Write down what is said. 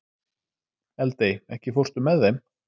Eldey, ekki fórstu með þeim?